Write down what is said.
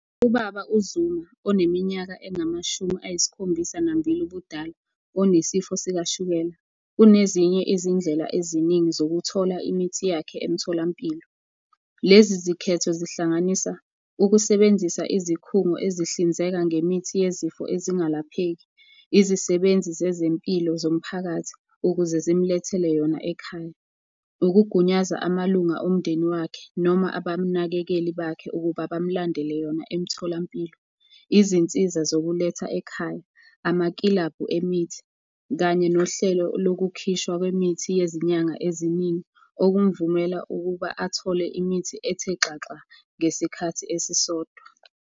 Ubaba uZuma oneminyaka engamashumi ayisikhombisa nambili ubudala onesifo sikashukela, unezinye izindlela eziningi zokuthola imithi yakhe emtholampilo. Lezi zikhetho zihlanganisa ukusebenzisa izikhungo ezihlinzeka ngemithi yezifo ezingalapheki, izisebenzi zezempilo zomphakathi ukuze zimulethele yona ekhaya. Ukugunyaza amalunga omndeni wakhe noma abanakekeli bakhe ukuba bamulandele yona emtholampilo. Izinsiza zokuletha ekhaya, amakilabhu emithi, kanye nohlelo lokukhishwa kwemithi yezinyanga eziningi okumvumela ukuba athole imithi ethe xaxa ngesikhathi esisodwa.